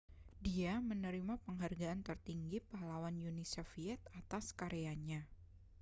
dia menerima penghargaan tertinggi pahlawan uni soviet atas karyanya